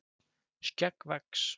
skegg vex